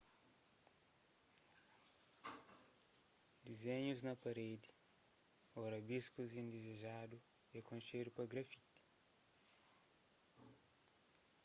dizénhus na parédi ô rabiskus indizejadu é konxedu pa grafiti